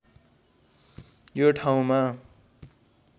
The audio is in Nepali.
यो ठाउँमा